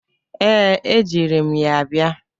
Ee, ejiri m ya bia.